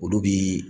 Olu bi